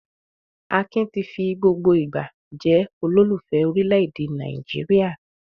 Akin ti fi gbogbo ìgbà jẹ́ olólùfẹ́ orílẹ̀-èdè Nàìjíríà.